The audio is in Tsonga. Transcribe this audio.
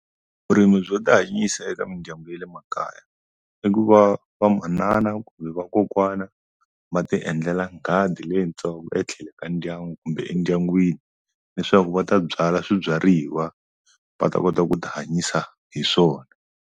Vurimi byo tihanyisa eka mindyangu ya le makaya i ku va va manana kumbe va kokwana va ti endlela gadi leyitsongo etlhelo ka ndyangu kumbe endyangwini leswaku va ta byala swibyariwa va ta kota ku ti hanyisa hi swona.